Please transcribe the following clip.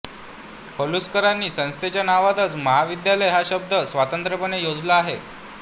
पलुसकरांनी संस्थेच्या नावातच महाविद्यालय हा शब्द स्वतंत्रपणे योजला आहे